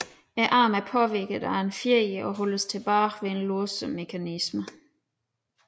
Armen er påvirket af en fjeder og holdes tilbage ved en låsemekanisme